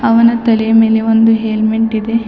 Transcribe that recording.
ಅವನ ತಲೆಯ ಮೇಲೆ ಒಂದು ಹೆಲ್ಮೆಟ್ ಇದೆ.